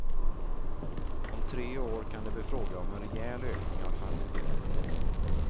Om tre år kan det bli fråga om en rejäl ökning av kvantiteterna.